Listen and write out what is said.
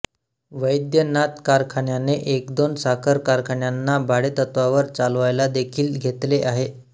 वैद्यनाथ कारखान्याने एकदोन साखर कारखान्यांना भाडेतत्त्वावर चालवायलादेखील घेतले आहे